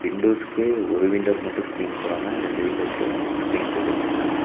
விண்டோஸ்க்கு ஒரு விண்டோக்கு மட்டு ஸ்கிரீன் போடாம ரெண்டு விண்டோக்கு ஸ்கிரீன் போட்டு வச்சிருக்காங்க.